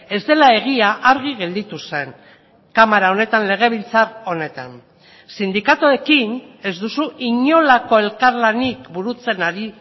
ez dela egia argi gelditu zen kamara honetan legebiltzar honetan sindikatuekin ez duzu inolako elkarlanik burutzen ari